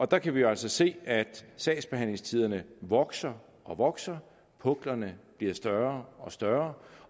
der kan vi jo altså se at sagsbehandlingstiderne vokser og vokser puklerne bliver større og større